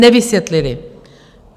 Nevysvětlili.